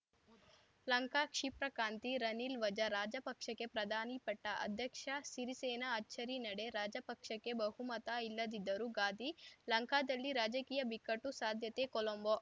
ಲಂಕಾ ಕ್ಷಿಪ್ರಕ್ರಾಂತಿ ರನಿಲ್‌ ವಜಾ ರಾಜಪಕ್ಷೆಗೆ ಪ್ರಧಾನಿ ಪಟ್ಟ ಅಧ್ಯಕ್ಷ ಸಿರಿಸೇನ ಅಚ್ಚರಿ ನಡೆ ರಾಜಪಕ್ಷೆಗೆ ಬಹುಮತ ಇಲ್ಲದಿದ್ದರೂ ಗಾದಿ ಲಂಕಾದಲ್ಲಿ ರಾಜಕೀಯ ಬಿಕ್ಕಟ್ಟು ಸಾಧ್ಯತೆ ಕೊಲಂಬೊ